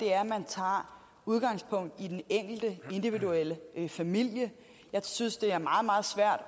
er at man tager udgangspunkt i den enkelte individuelle familie jeg synes det er meget meget svært